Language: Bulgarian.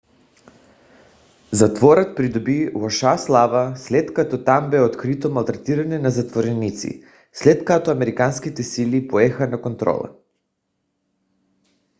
затворът придоби лоша слава след като там бе открито малтретиране на затворници след като американските сили поеха контрола